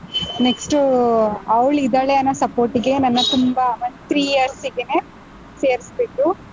Next ಅವ್ಳ್ ಇದ್ದಾಳೆ ಅನ್ನೋ support ಗೆ ನನ್ನ ತುಂಬಾ ಒಂದ್ three years ಗೆನೇ ಸೇರ್ಸ್ಬಿಟ್ರು.